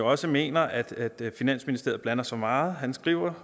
også mener at finansministeriet blander sig i meget han skriver